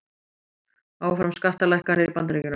Áfram skattalækkanir í Bandaríkjunum